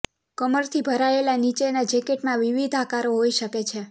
કમરથી ભરાયેલા નીચેનાં જેકેટમાં વિવિધ આકારો હોઈ શકે છે